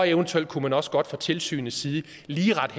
eventuelt kunne man også godt fra tilsynets side lige rette